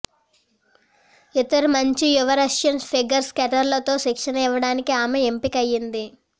ఇతర మంచి యువ రష్యన్ ఫిగర్ స్కేటర్లతో శిక్షణ ఇవ్వడానికి ఆమె ఎంపికయింది